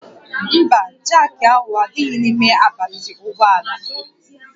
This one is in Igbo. Mba, jaakị ahụ adịghị n'ime akpati ụgbọ ala